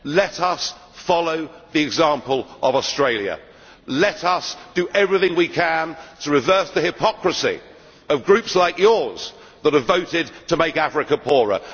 Let us follow the example of Australia, let us do everything we can to reverse the hypocrisy of groups like yours that have voted to make Africa poorer.